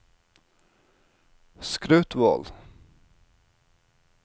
Skrautvål